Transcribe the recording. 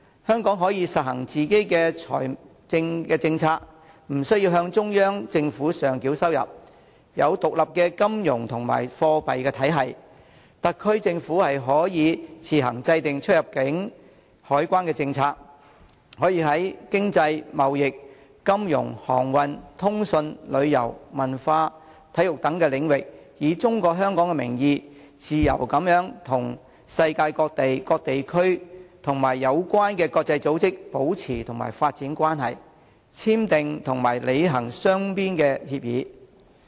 香港可以實行自己的財政政策，不需要向中央政府上繳收入；有獨立的金融及貨幣體系，特區政府可以自行制訂出入境、海關政策，可以在經濟、貿易、金融、航運、通訊、旅遊、文化、體育等領域，以中國香港的名義，自由地與世界各地區及有關的國際組織保持和發展關係，簽訂和履行雙邊協議。